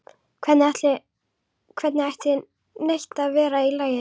Hvernig ætti neitt að vera í lagi?